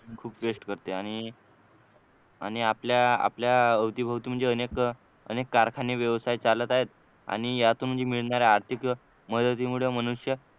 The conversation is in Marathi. खूप वेस्ट करते आणि आणि आपल्या आपल्या अवतीभवती म्हणजे अनेक कारखाने व्यवसाय चालत आहेत आणि यातून म्हणजे मिळणाऱ्या आर्थिक मदतीमुळे मनुष्य